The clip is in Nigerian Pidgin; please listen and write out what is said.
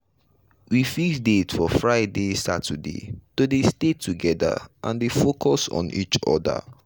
we fix date for friday saturday to dey stay together and dey focus on each other.